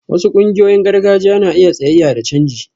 Wasu ƙungiyoyin gargajiya na iya tsayayya da canji